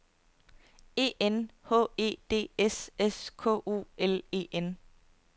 E N H E D S S K O L E N